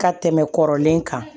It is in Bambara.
Ka tɛmɛ kɔrɔlen kan